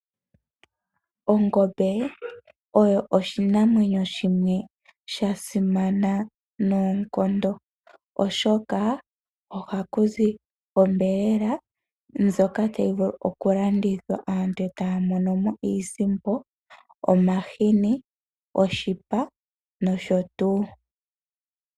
Ongombe oyo oshinamwenyo shimwe sha simana noonkondo oshoka, ohaku zi onyama ndjoka hayi vulu okulandithwa aantu etaya mono mo iisimpo, omahini, oshipa nosho tuu.